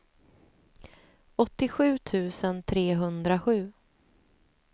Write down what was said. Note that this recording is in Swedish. åttiosju tusen trehundrasju